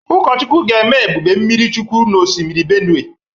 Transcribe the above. Ukọchukwụ ga-eme Ebube mmiri chukwụ na ọsimiri Benụe.